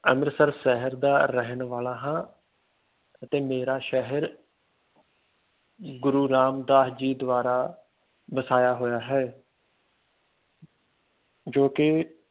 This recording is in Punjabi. ਅੰਮ੍ਰਿਤਸਰ ਸ਼ਹਿਰ ਦਾ ਰਹਿਣ ਵਾਲਾ ਹਾਂ ਅਤੇ ਮੇਰਾ ਸ਼ਹਿਰ ਗੁਰੂ ਰਾਮਦਾਸ ਜੀ ਦੁਆਰਾ ਵਸਾਇਆ ਹੋਇਆ ਹੈ ਜੋ ਕਿ